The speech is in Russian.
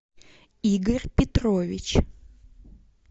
игорь петрович